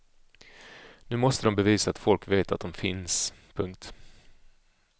Nu måste de bevisa att folk vet att de finns. punkt